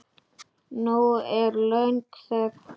Nú er löng þögn.